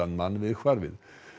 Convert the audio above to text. mann við hvarfið